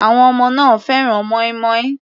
Àwọn ọmọ náà fẹ́ràn mọ́ínmọ́ín.